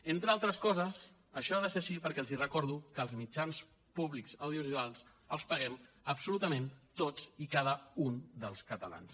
entre altres coses això ha de ser així perquè els recordo que els mitjans públics audiovisuals els paguem absolutament tots i cada un dels catalans